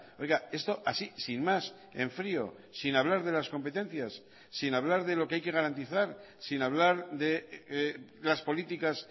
oiga esto así sin más en frío sin hablar de las competencias sin hablar de lo que hay que garantizar sin hablar de las políticas